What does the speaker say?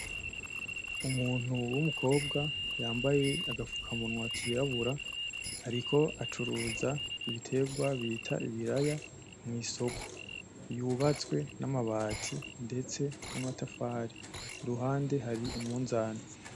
Umuntu wumukobwa yambaye agafukamunwa kirabura, ariko acuruza ibiterwa bita ibiraya mwisoko , yubatswe namabati ndetse namatafari. Iruhande hari umunzani .